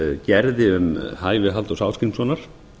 gerði um hæfi halldórs ásgrímssonar